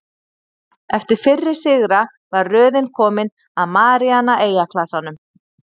Eftir fyrri sigra var röðin komin að Maríana-eyjaklasanum.